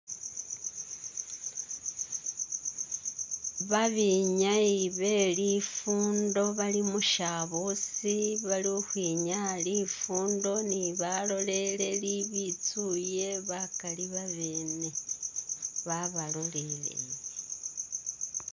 Babenyayi belifundo bali mushabusi balikhukhwinyaa lifundo ni baloleleli bitsuye bakali babene babaloleleye